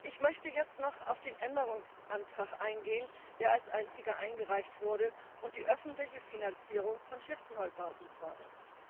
Ich möchte jetzt noch auf den Änderungsantrag eingehen, der als einziger eingereicht wurde und die öffentliche Finanzierung von Schiffsneubauten fordert.